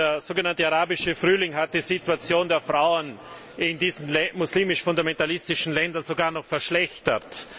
Der so genannte Arabische Frühling hat die Situation der Frauen in diesen muslimisch fundamentalistischen Ländern sogar noch verschlechtert.